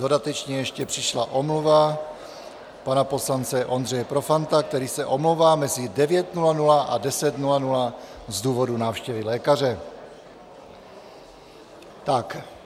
Dodatečně ještě přišla omluva pana poslance Ondřeje Profanta, který se omlouvá mezi 9.00 a 10.00 z důvodu návštěvy lékaře.